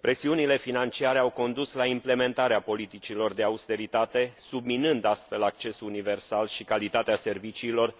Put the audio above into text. Presiunile financiare au condus la implementarea politicilor de austeritate, subminând, astfel, accesul universal și calitatea serviciilor,